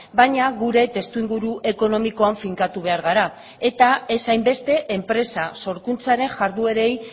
baina gure testuinguru ekonomikoan finkatu behar gara eta ez hainbeste enpresa sorkuntzaren jarduerei